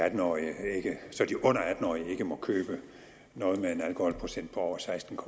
atten årige ikke må købe noget med en alkoholprocent på over seksten